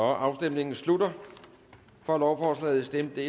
afstemningen slutter for lovforslaget stemte